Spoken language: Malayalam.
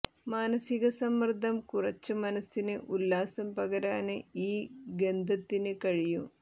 മാനസിക സമ്മര്ദം കുറച്ച് മനസിന് ഉല്ലാസം പകരാന് ഈ ഗന്ധത്തിന് കഴിയും